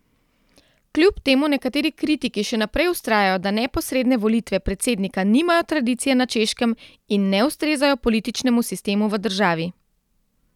Kljub temu nekateri kritiki še naprej vztrajajo, da neposredne volitve predsednika nimajo tradicije na Češkem in ne ustrezajo političnemu sistemu v državi.